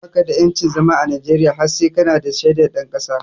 Baka da yancin zama a Najeriya har sai kana da shaidar ɗan ƙasa